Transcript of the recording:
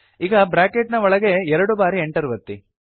ಈಗ ಬ್ರಾಕೆಟ್ ನ ಒಳಗೆ ಎರಡು ಬಾರಿ Enter ಒತ್ತಿ